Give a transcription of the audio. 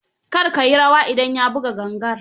Kar ka yi rawa idan ya buga gangar.